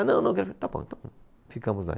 Ah, não, não, está bom, então ficamos lá.